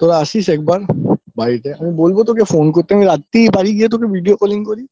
তোরা আসিস একবার বাড়িতে আমি বলবো তোকে phone করতে আমি রাত্তি বাড়ি গিয়ে তোকে video calling করি